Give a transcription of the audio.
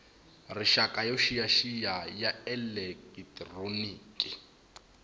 rixaka yo xiyaxiya ya elekitroniki